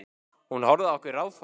Hún horfði á okkur ráðþrota.